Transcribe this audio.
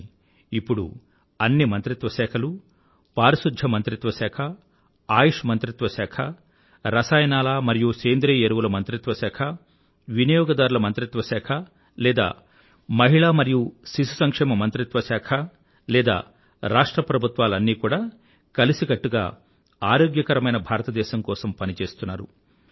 కానీ ఇప్పుడు అన్ని మంత్రిత్వ శాఖలూ పారిశుధ్య మంత్రిత్వ శాఖ ఆయుష్ మంత్రిత్వ శాఖ రసాయనాల మరియు సేంద్రీయ ఎరువుల మంత్రిత్వ శాఖ వినియోగదారుల మంత్రిత్వ శాఖ లేదా మహిళా మరియు శిశు సంక్షేమ మంత్రిత్వ శాఖ లేదా రాష్ట్ర ప్రభుత్వాలూ అన్నీ కూడా కలిసికట్టుగా ఆరోగ్యకరమైన భారతదేశం కోసం పని చేస్తున్నారు